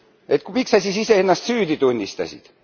Et miks sa siis ise ennast süüdi tunnistasid?